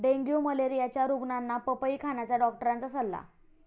dengue मलेरियाच्या रुग्णांना पपई खाण्याचा डॉक्टरांचा सल्ला